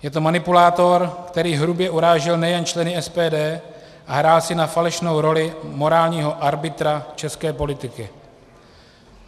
Je to manipulátor, který hrubě urážel nejen členy SPD a hrál si na falešnou roli morálního arbitra české politiky.